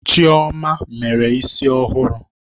Chioma mere isi ọhụrụ